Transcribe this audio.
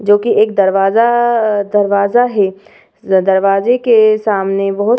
जो कि एक दरवाजा दरवाजा है। दरवाजे के सामने बहोत --